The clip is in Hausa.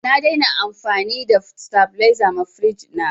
Na dai na amfani da sitabiliza ma firiji na